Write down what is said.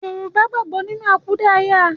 Yorùbá gbàgbọ́ nínú àkúdàáyá